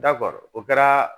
Dabɔgɔ o kɛra